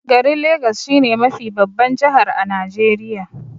Garin legas shi ne mafi babban jihar a Najeriya.